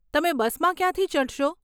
તમે બસમાં ક્યાંથી ચઢશો?